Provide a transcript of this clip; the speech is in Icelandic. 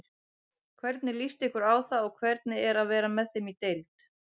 Hvernig líst ykkur á það og hvernig er að vera með þeim í deild?